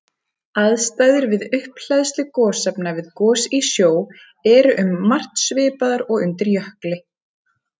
Aðstæður við upphleðslu gosefna við gos í sjó eru um margt svipaðar og undir jökli.